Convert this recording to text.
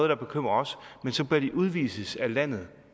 der bekymrer os og så bør de udvises af landet